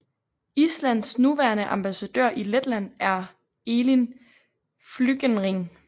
Islands nuværende ambassadør i Letland er Elín Flygenring